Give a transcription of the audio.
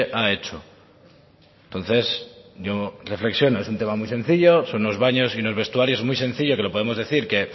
ha hecho entonces yo reflexiono es un tema muy sencillo son unos baños y unos vestuarios muy sencillo que lo podemos decir que